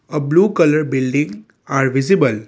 a blue colour building are visible.